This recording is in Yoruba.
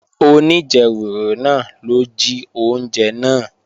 Oníjẹwùrù náà ló jí oúnjẹ náà